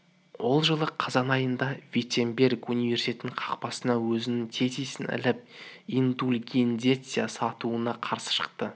ол жылы қазан айында виттенберг университетінің қақпасына өзінің тезисін іліп индульгенция сатуына қарсы шықты